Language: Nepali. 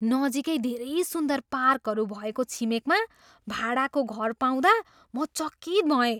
नजिकै धेरै सुन्दर पार्कहरू भएको छिमेकमा भाडाको घर पाउँदा म चकित भएँ।